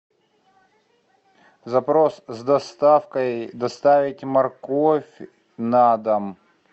запрос с доставкой доставить морковь на дом